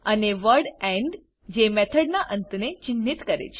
અને word end જે મેથડના અંતને ચિન્હિત કરે છે